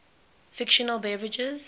fictional beverages